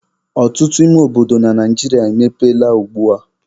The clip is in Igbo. Ọtụtụ ime obodo na Naijiria emepeela ugbua.